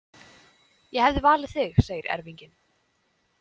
Ég hefði valið þig, segir erfinginn.